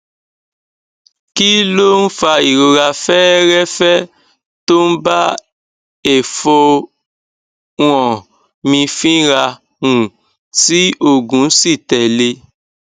kí ló ń fa ìrora feerefe tó ń bá efonha mi fínra um tí oogun si tele